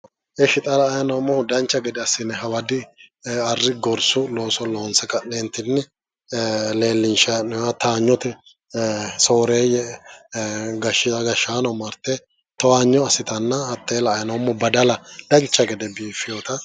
ishi xaa la'anni noomohu dancha gede assine haawadi arri gorsu looso loonse ka'netini leellishanninoha sooreye gaashaano marte toowanyo assitanna haate la'aaninoomo badala dancha gede biiffiyotta